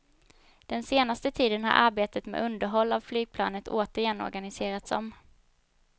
Den senaste tiden har arbetet med underhåll av flygplanen återigen organiserats om.